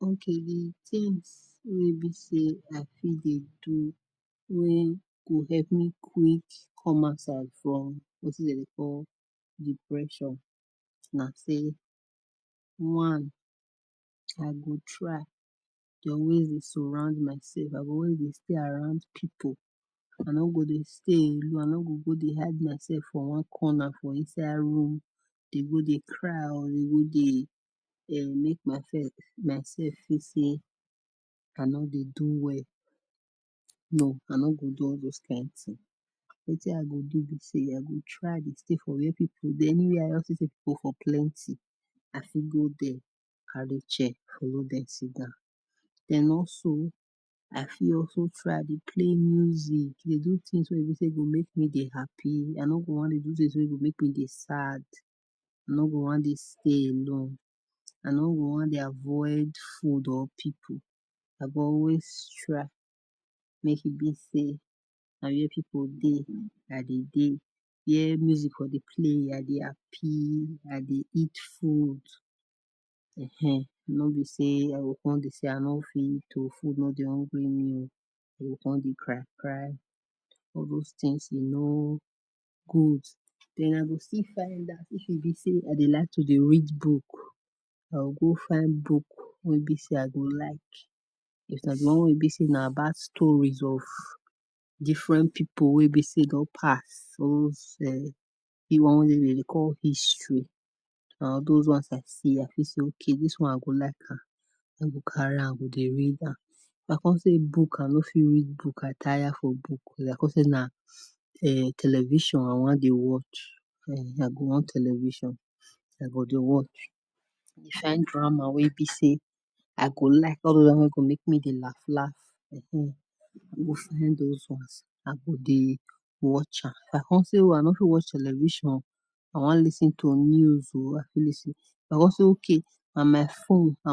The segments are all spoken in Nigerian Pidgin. Okay di things wey be say I fit dey do wen go help me quick come outside from wetin Dem dey call depression nah say one I go try dey always surround myself I go always dey with people I no go dey stay alone I no go hide my self for one corner for inside room dey go dey cry o dey go dey um make myself myself fit say I no dey do well no I no go do all those Kain thing wetin I go do be say I go try dey stay for where people anywhere wey I see people for plenty I fit go there and go check den also I fit also try dey play music dey do things make me say be happy I no go do things make we say e go make me sad I no go wan dey stay alone I no go wan dey avoid food or people I go always try make e be say Na where people dey I go dey where music dey play I go happy I dey eat food um I no go say I no fit eat food o food no dey hungry me o I con dey cry cry all those things e no good den I go still find If e be say I like to dey read book go find book wey be say I go like cause nah di one bad stories of different people wey be say e don pass or wey be Dem dey call history or those one of epistles wey be say dis one I go like am I go carry am I go dey read am if I no say I no fit read book I tire for book I go dey if I con see nah um television I wan dey watch um I go watch television I go dey watch find drama wey be say I go like, all those ones wey go make me dey laugh laugh um I go find those ones I go dey watch am If I con see say I no fit watch television o I wan lis ten to news o I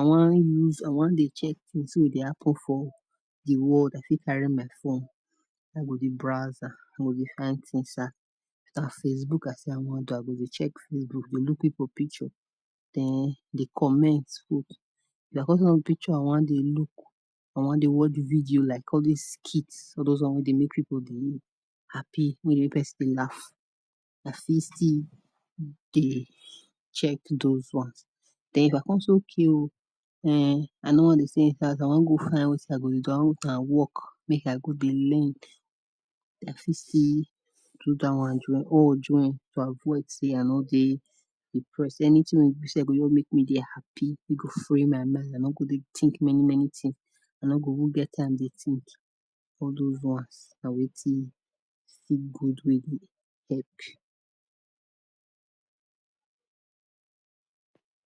wan use I wan dey check things wey dey happen for the world I fit carry my phone I go dey browse I go dey find things um I go dey check Facebook you know I go dey look people picture then dey comments of the pictures I con dey look den I wan dey watch video like skit all those ones make dey make people dey happy make person dey laugh nah I fit still dey check those ones den if con say okay o um I no wan dey say infact I wan go find wetin I wan do if na work make I go dey learn I fit see still do dat one join all join to avoid say I no dey depressed any thing wey be say just make me happy wey go free my mind I no go dey think many many things I no go even get time to dey think all those ones na wetin I fit go do